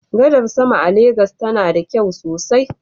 Gadar sama a Legas tana da kyau sosai.